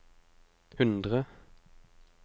hundre